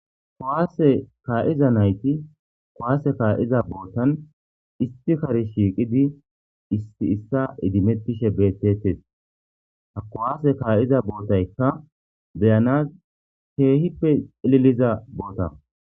Kuwaase kaa'iza nayti kowaase kaa'iza bootan isti kari shiiqidi issi issa idimettishe bettetes hakowaase kaa'iza bootaykka beyana keehippe liliza boota.